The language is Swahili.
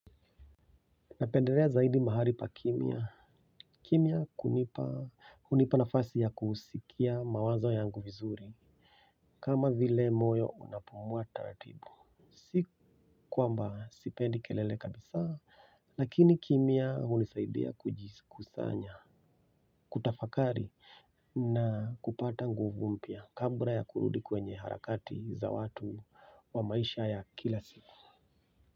Napendelea zaidi mahali pakimya. Kimya hunipa, hunipa nafasi ya kusikia mawazo yangu vizuri. Kama vile moyo unapumua taratibu. Si kwamba sipendi kelele kabisa, lakini kimya hunisaidia kujisikusanya, kutafakari na kupata nguvu mpya, kabla ya kurudi kwenye harakati za watu wa maisha ya kila siku.